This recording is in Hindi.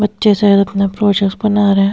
बच्चे शायद अपना प्रोजेक्स बना रहे हैं।